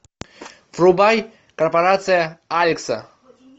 врубай корпорация алекса